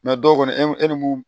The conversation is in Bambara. dɔw kɔni e ni mun